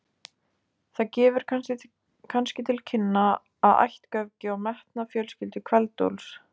Það gefur kannski til kynna ættgöfgi og metnað fjölskyldu Kveld-Úlfs.